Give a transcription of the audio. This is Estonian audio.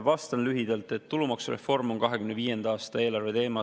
Vastan lühidalt, et tulumaksureform on 2025. aasta eelarve teema.